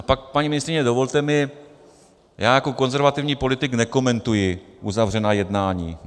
A pak, paní ministryně, dovolte mi, já jako konzervativní politik nekomentuji uzavřená jednání.